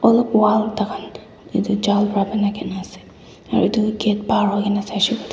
ene wall thaka etu jal para banaikena ase aru etu gate par hoikena saishe koile toh.